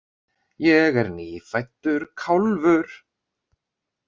Ég er nýfæddur kálfur.